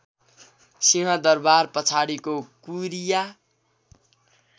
सिंहदरवार पछाडिको कुरिया